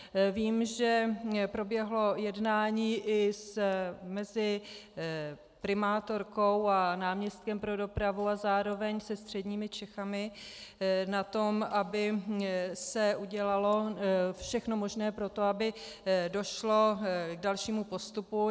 Vím, že proběhlo jednání i mezi primátorkou a náměstkem pro dopravu a zároveň se středními Čechami na tom, aby se udělalo všechno možné pro to, aby došlo k dalšímu postupu.